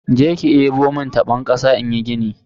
Jeki debo mun tabon kasa inyi gini.